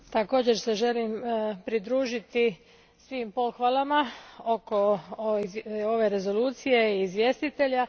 Također se želim pridružiti svim pohvalama oko ove rezolucije i izvjestitelja.